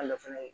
fana ye